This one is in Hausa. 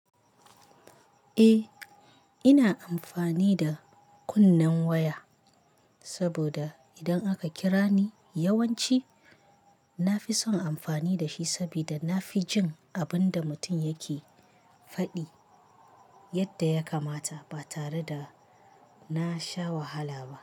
Eh, ina amfani da kunnen waya saboda idan aka kira ni yawanci na fi son amfani da shi saboda na fi jin abun da mutum yake faɗi yadda ya kamata ba tare da na sha wahala ba.